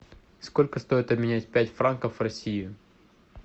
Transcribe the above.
сколько стоит обменять пять франков в россии